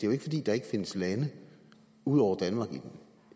jo ikke fordi der ikke findes lande ud over danmark i